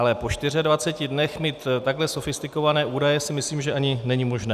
Ale po 24 dnech mít takto sofistikované údaje, si myslím, že ani není možné.